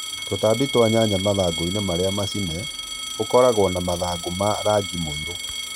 Tũtambi twa nyanya mathangũinĩ marĩa macine ũkoragwo na mathangũ ma rangi mũirũ